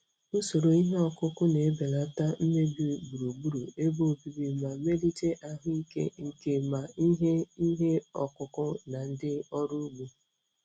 Usoro ihe ọkụkụ na-ebelata mmebi gburugburu ebe obibi ma melite ahụike nke ma ihe ihe ọkụkụ na ndị ọrụ ugbo.